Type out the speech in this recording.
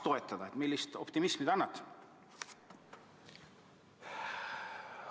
Kui suurt optimismi te annate?